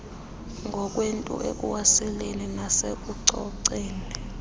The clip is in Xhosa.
ngokwethu ekuwaseleni nasekucoceni